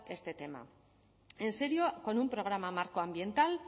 este tema en serio con un programa marco ambiental